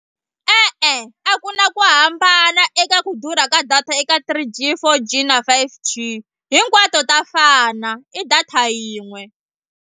E-e a ku na ku hambana eka ku durha ka data eka three g, four g na five g hinkwato ta fana i data yin'we.